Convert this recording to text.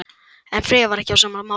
En Freyja var ekki á sama máli.